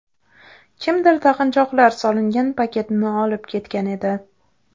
Kimdir taqinchoqlar solingan paketni olib ketgan edi.